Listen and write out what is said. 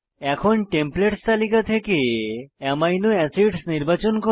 এখন টেমপ্লেটস তালিকা থেকে আমিনো এসিডস নির্বাচন করে